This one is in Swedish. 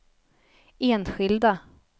enskilda